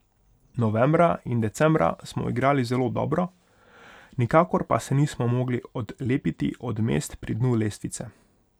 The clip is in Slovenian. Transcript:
Novembra in decembra smo igrali zelo dobro, nikakor pa se nismo mogli odlepiti od mest pri dnu lestvice.